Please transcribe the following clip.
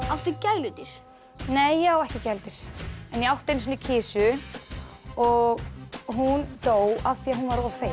áttu gæludýr nei ég á ekki gæludýr en ég átti einu sinni kisu og hún dó af því hún var of feit